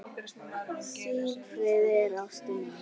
Silfrið er ástin mín.